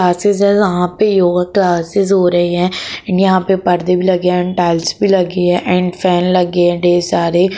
यहां पे योगा क्लासेस हो रही है यहां पर पर्दे भी लगे और टाइल्स भी लगी है और फैन लगी है ढेर सारे।